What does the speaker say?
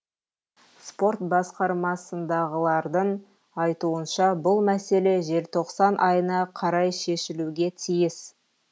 спорт басқармасындағылардың айтуынша бұл мәселе желтоқсан айына қарай шешілуге тиіс